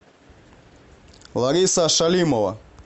лариса шалимова